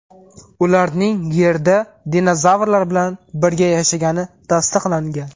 Ularning Yerda dinozavrlar bilan birga yashagani tasdiqlangan.